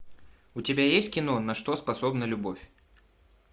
у тебя есть кино на что способна любовь